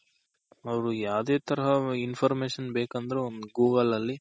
ಅವ್ರು ಯಾವ್ದೆ ತರಹ Information ಬೇಕಂದ್ರೂ Google ಅಲ್ಲಿ